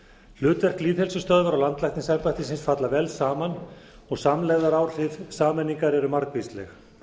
hlutverk lýðheilsustöðvar og landlæknisembættisins falla vel saman og samlegðaráhrif sameiningar eru margvísleg